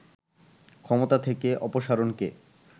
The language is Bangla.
ক্ষমতা থেকে অপসারণকে